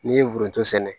N'i ye foronto sɛnɛ